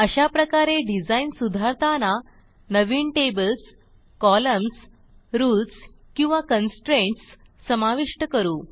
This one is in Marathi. अशाप्रकारे डिझाईन सुधारताना नवीन टेबल्स कॉलम्न्स रूल्स किंवा कन्स्ट्रेंट्स समाविष्ट करू